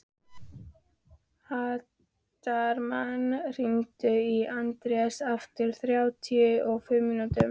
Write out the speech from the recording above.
Hartmann, hringdu í Anders eftir þrjátíu og fimm mínútur.